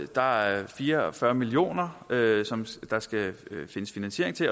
der er fire og fyrre million kr som der skal findes finansiering til